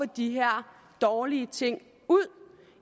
de her dårlige ting ud